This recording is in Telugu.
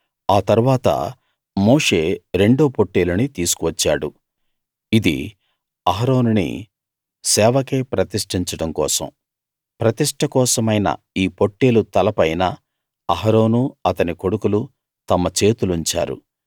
ఆ తరువాత మోషే రెండో పొట్టేలుని తీసుకు వచ్చాడు ఇది అహరోనుని సేవకై ప్రతిష్టించడం కోసం ప్రతిష్ట కోసమైన ఈ పొట్టేలు తల పైన అహరోనూ అతని కొడుకులూ తమ చేతులుంచారు